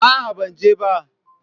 A'a, ban je ba.